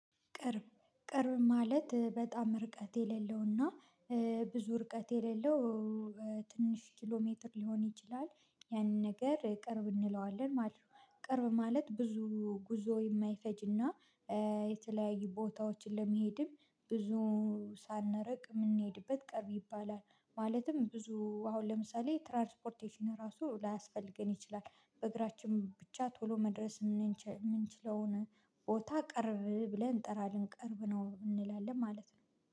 ቅርብ ቅርብ ማለት በጣም ርቀት የሌለውና ብዙ ርቀት የሌለው ትንሽ ኪሎ ሜትር ሊሆን ይችላል ያንን ነገር ቅርብ እንለዋለን ማለት ነው። ቅርብ ማለት ብዙ ጉዞ የማይፈጅና የተለያየ ቦታዎችን ለመሄድም ብዙ ሳናርቅ የምንሄድበት ቀርብ ይባላል። ማለትም ብዙ አሁን ለምሳሌ ትራንስፖርቴሽን ራሱ ላያስፈልገን ይችላል። በእግራችን ብቻ ቶሎ መድረስ የምንችለውን ቦታ ቅርብ ብለን ስንጠራ ቅርብ ነው እንላለን ማለት ነው